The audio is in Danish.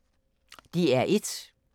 DR1